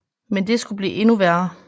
Men det skulle blive endnu værre